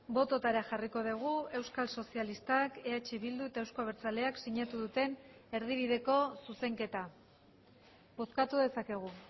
bototara jarriko dugu euskal sozialistak eh bildu eta euzko abertzaleak sinatu duten erdibideko zuzenketa bozkatu dezakegu